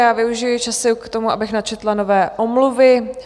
Já využiji času k tomu, abych načetla nové omluvy.